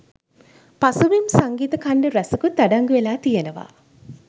පසුබිම් සංගීත ඛණ්ඩ ‍රැසකුත් අඩංගුවෙලා තියෙනව.